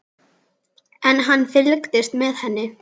En hann fylgist með henni.